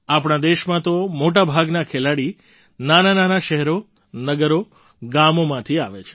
આપણા દેશમાં તો મોટા ભાગના ખેલાડી નાનાંનાનાં શહેરો નગરો ગામોમાંથી આવે છે